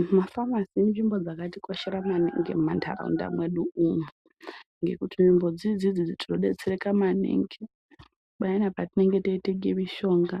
Zvima famisi inzvimbo dzakati koshera maningi mu mandaraunda medu umo ngekuti nzvimbo dzinedzi tino detsereka maningi payana patinenge tei tenga mishonga